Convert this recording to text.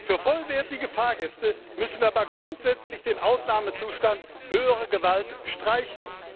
Für vollwertige Fahrgäste müssen wir aber grundsätzlich den Ausnahmezustand Höhere Gewalt streichen.